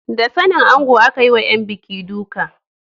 Da sanin ango aka yi wa ‘yan buki duka.